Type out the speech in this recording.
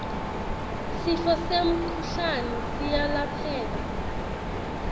sifo semkhuhlane siyalapheka